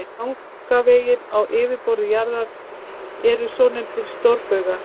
Gagnvegir á yfirborði jarðar eru svonefndir stórbaugar.